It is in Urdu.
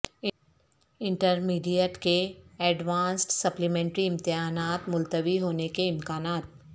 انٹرمیڈیٹ کے اڈوانسڈ سپلیمنٹری امتحانات ملتوی ہونے کے امکانات